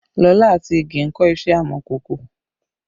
Lola àti Ìgè ń kọ́ iṣẹ́ amọ̀kòkò